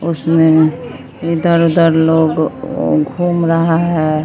उसमें उसमें इधर-उधर लोग घूम रहा है।